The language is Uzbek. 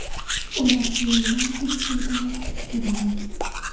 Ular ayoldan tekshiruvdan o‘tishni so‘ragan.